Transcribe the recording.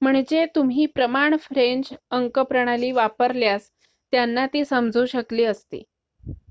म्हणजे तुम्ही प्रमाण फ्रेंच अंक प्रणाली वापरल्यास त्यांना ती समजू शकली असती